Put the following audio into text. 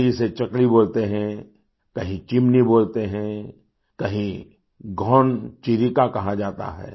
कहीं इसे चकली बोलते हैं कहीं चिमनी बोलते हैं कहींघान चिरिका कहा जाता है